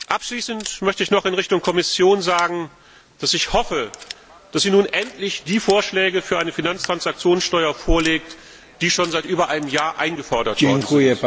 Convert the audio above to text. Abschließend möchte ich noch in Richtung Kommission sagen, dass ich hoffe, dass sie nun endlich die Vorschläge für eine Finanztransaktionssteuer vorlegt, die schon seit über einem Jahr eingefordert werden.